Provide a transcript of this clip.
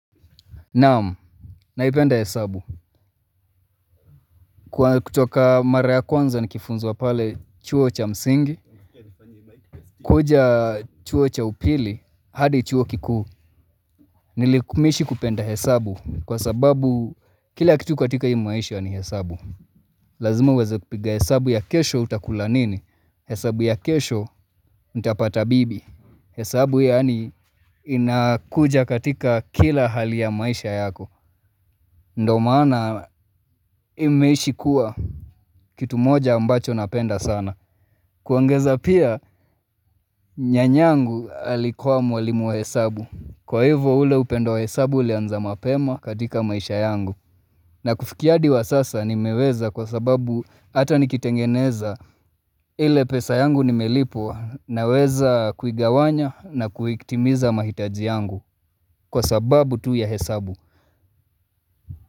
Naamu, naipenda hesabu. Kutoka mara ya kwanza nikifunzwa pale chuo cha msingi, kuja chuo cha upili, hadi chuo kikuu, nilikumishi kupenda hesabu kwa sababu kila kitu katika hii mwaisha ni hesabu. Lazima uweze kupiga hesabu ya kesho utakula nini, hesabu ya kesho nitapata bibi, hesabu yaani inakuja katika kila hali ya maisha yako, ndo maana hii naishi kuwa. Kitu moja ambacho napenda sana. Kuongeza pia nyanyangu alikuwa mwalimu wa hesabu. Kwa hivo ule upendo wa hesabu ulianza mapema katika maisha yangu. Na kufikia hadi wa sasa nimeweza kwa sababu hata nikitengeneza ile pesa yangu nimelipwa na weza kuigawanya na kuiktimiza mahitaji yangu kwa sababu tu ya hesabu.